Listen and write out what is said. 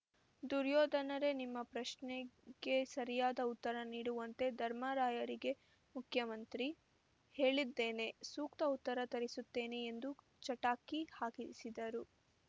ದುರ್ಯೋಧನರೇ ನಿಮ್ಮ ಪ್ರಶ್ನೆಗೆ ಸರಿಯಾದ ಉತ್ತರ ನೀಡುವಂತೆ ಧರ್ಮರಾಯರಿಗೆ ಮುಖ್ಯಮಂತ್ರಿ ಹೇಳಿದ್ದೇನೆ ಸೂಕ್ತ ಉತ್ತರ ತರಿಸುತ್ತೇನೆ ಎಂದು ಚಟಾಕಿ ಹಾರಿಸಿದರು